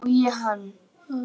Hann studdi mig og ég hann!